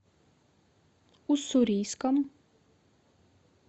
уссурийском